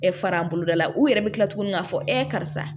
fara an boloda la u yɛrɛ bɛ tila tuguni k'a fɔ karisa